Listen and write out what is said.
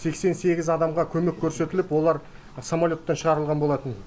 сексен сегіз адамға көмек көрсетіліп олар самолеттен шығарылған болатын